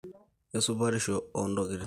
esupatisho oo ntokitin